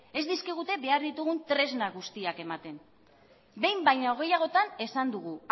ez dizkigute behar ditugun tresna guztiak ematen behin baino gehiagotan esan dugu